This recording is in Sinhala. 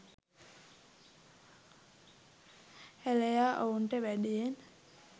හෙළයා ඔවුන්ට වැඩියෙන්